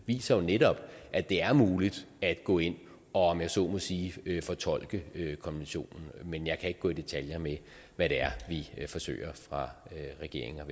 viser jo netop at det er muligt at gå ind og om jeg så må sige fortolke konventionen men jeg kan ikke gå i detaljer med hvad det er vi forsøger fra regeringens og